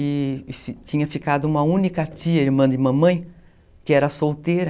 e tinha ficado uma única tia, irmã de mamãe, que era solteira.